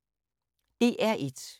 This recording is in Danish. DR1